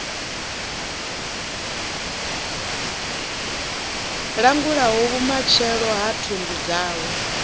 langulaho vhumatshelo ha thundu dzawe